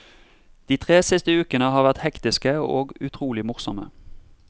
Det tre siste ukene har vært hektiske og utrolig morsomme.